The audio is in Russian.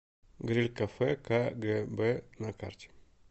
гриль кафе кагэбэ на карте